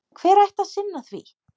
Hver ætti að sinna því?